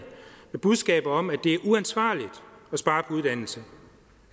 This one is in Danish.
med budskaber om at det er uansvarligt at spare på uddannelse